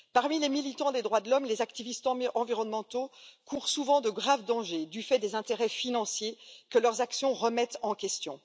Parmi les militants des droits de l'homme, les activistes environnementaux courent souvent de graves dangers du fait des intérêts financiers que leurs actions remettent en question.